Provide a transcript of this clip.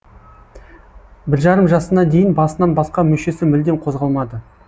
бір жарым жасына дейін басынан басқа мүшесі мүлдем қозғалмады